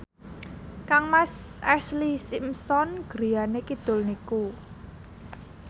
kangmas Ashlee Simpson griyane kidul niku